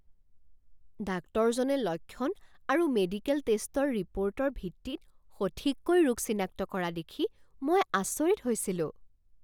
ডাক্তৰজনে লক্ষণ আৰু মেডিকেল টেষ্টৰ ৰিপ'ৰ্টৰ ভিত্তিত সঠিককৈ ৰোগ চিনাক্ত কৰা দেখি মই আচৰিত হৈছিলোঁ!